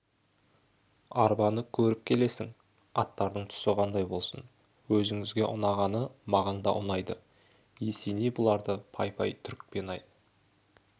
арбаны көріп келесің аттардың түсі қандай болсын өзіңізге ұнағаны маған да ұнайды есеней бұларды пай-пай түрікпен-ай